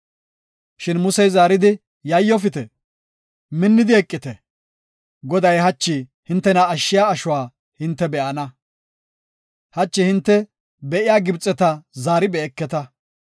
Shin Musey zaaridi, “Yayyofite; minnidi eqite. Goday hachi hintena ashshiya ashuwa hinte be7ana. Hachi hinte be7iya Gibxeta zaari be7eketa.